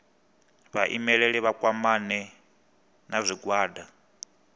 vhaimeleli vha kwamane na zwigwada